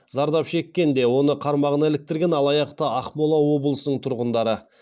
зардап шеккен де оны қармағына іліктірген алаяқ та ақмола облысының тұрғындары